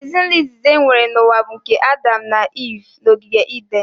Ezinaụlọ izizi enwere n'ụwa bụ nke Adam na Iv n'ogige Iden